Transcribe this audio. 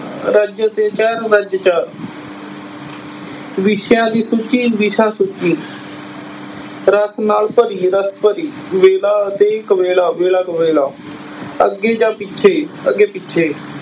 ਰਜ ਅਤੇ ਚਾਰ ਰਜ ਚਾਰ ਵਿਸ਼ਿਆਂ ਦੀ ਸੂਚੀ ਵਿਸ਼ਾ ਸੂਚੀ ਰਸ ਨਾਲ ਭਰੀ ਰਸ ਭਰੀ, ਵੇਲਾ ਅਤੇ ਕੁਵੇਲਾ ਵੇਲਾ ਕੁਵੇਲਾ, ਅੱਗੇ ਜਾਂ ਪਿੱਛੇ ਅੱਗੇ ਪਿੱਛੇ।